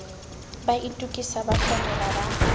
ba itokisa ba hlomela ba